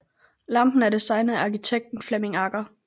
Lampen er designet af arkitekten Flemming Agger